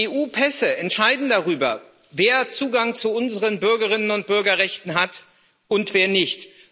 EU-Pässe entscheiden darüber, wer Zugang zu unseren Bürgerinnen und Bürgerrechten hat und wer nicht.